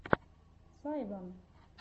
сайван